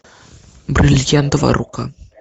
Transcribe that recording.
бриллиантовая рука